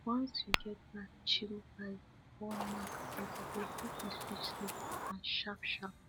once you get that chill vibe before knack bed e go help you switch sleep pattern sharpsharp